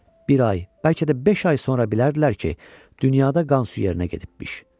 Bir ay, bəlkə də beş ay sonra bilərdilər ki, dünyada qan su yerinə gedibmiş.